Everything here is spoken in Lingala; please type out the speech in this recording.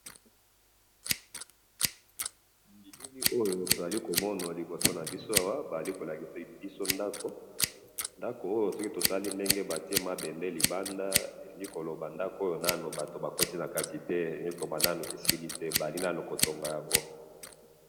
Na moni ndako bozali nanu kotonga yango na batu nanu bakoti na kati te.